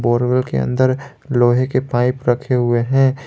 के अंदर लोहे के पाइप रखे हुए है।